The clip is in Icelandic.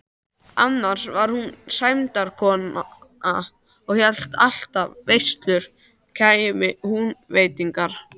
Annars var hún sæmdarkona og hélt alltaf veislur kæmu Húnvetningar.